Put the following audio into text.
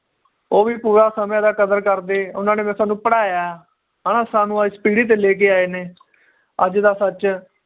ਉਹ ਵੀ ਪੂਰਾ ਸਮੇ ਦਾ ਕਦਰ ਕਰਦੇ ਉਹਨਾਂ ਨੇ ਫਿਰ ਸਾਨੂੰ ਪੜ੍ਹਾਇਆ ਹ ਨਾ ਸਾਨੂੰ ਇਸ ਪੀੜੀ ਤੇ ਲੇਕੇ ਆਏ ਨੇ ਅੱਜ ਦਾ ਸੱਚ